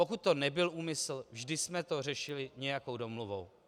Pokud to nebyl úmysl, vždy jsme to řešili nějakou domluvou.